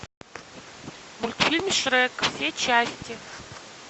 мультфильм шрек все части